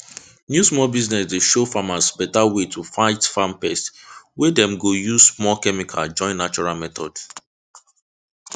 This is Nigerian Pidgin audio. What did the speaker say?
new small business dey show farmers beta way to fight farm pest wey dem go use small chemical join natural methods